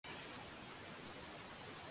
Sunna: Ert þú orðin spennt fyrir jólunum?